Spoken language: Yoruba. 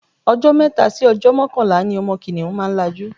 Ọjọ́ mẹ́ta sí ọjọ́ mọ́kànlá ni ọmọ kìnìhún máa tó lajú.